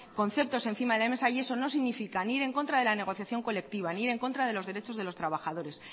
conceptos encima de la mesa y eso no significa ni ir en contra de la negociación colectiva ni ir en contra de los derechos de los trabajadores